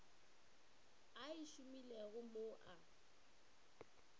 a e šomilego mo a